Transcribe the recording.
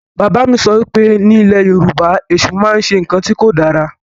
Bàbá mi sọ wípé ni ilẹ̀ Yorùbá, Èṣù máa ń ṣe ǹkan tí ó dára